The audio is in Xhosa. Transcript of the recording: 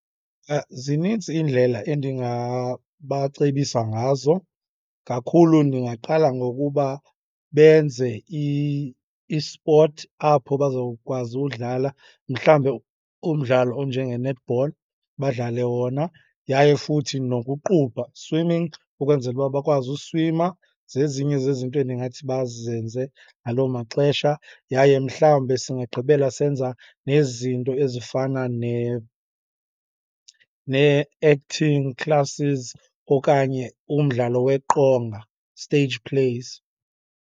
Zinintsi iindlela endingabacebisa ngazo. Kakhulu ndingaqala ngokuba benze isipothi apho bazowukwazi udlala. Mhlawumbe umdlalo onjenge-netball, badlale wona yaye futhi nokuqubha, swimming, ukwenzela uba bakwazi uswima. Zezinye zezinto endingathi bazenze ngaloo maxesha. Yaye mhlawumbe singagqibela senza nezinto ezifana nee-acting classes okanye umdlalo weqonga, stage plays.